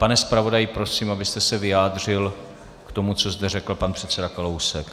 Pane zpravodaji, prosím, abyste se vyjádřil k tomu, co zde řekl pan předseda Kalousek.